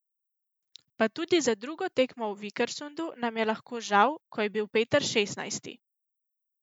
Pa tudi za drugo tekmo v Vikersundu nam je lahko žal, ko je bil Peter šestnajsti.